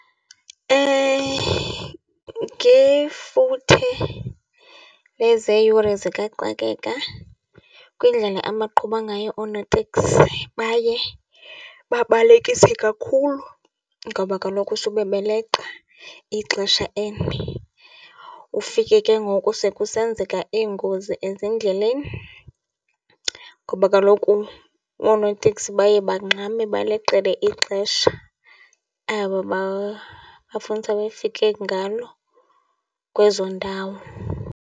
Ngefuthe lezeyure zikaxakeka kwindlela abaqhuba ngayo oonoteksi baye babalekise kakhulu ngoba kaloku sube beleqa ixesha eli. Ufike ke ngoku sekusenzeka iingozi ezindleleni ngoba kaloku oonoteksi baye bangxame baleqele ixesha aba bafunisa befike ngalo kwezo ndawo.